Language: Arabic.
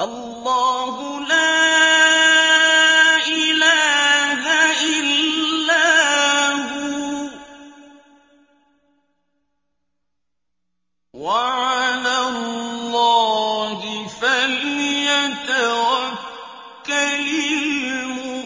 اللَّهُ لَا إِلَٰهَ إِلَّا هُوَ ۚ وَعَلَى اللَّهِ فَلْيَتَوَكَّلِ